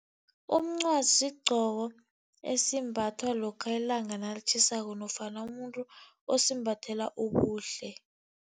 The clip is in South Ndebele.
Umncwazi sigcoko esimbathwa lokha ilanga nalitjhisako nofana umuntu osimbathela ubuhle.